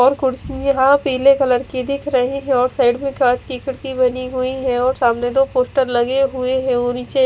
और कुड्सी यहा पीले कलर की दिख रही है और साइड में दो कांच की खिड़की बनी हुई है और सामने दो पोस्टर लगे हुए है और निचे--